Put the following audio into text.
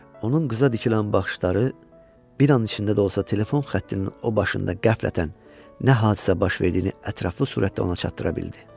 Onun qıza dikilən baxışları bir an içində də olsa telefon xəttinin o başında qəflətən nə hadisə baş verdiyini ətraflı surətdə ona çatdıra bildi.